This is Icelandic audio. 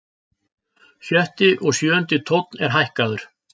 Sjötti og sjöundi tónn er hækkaður.